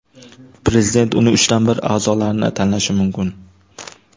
Prezident uning uchdan bir a’zolarini tanlashi mumkin.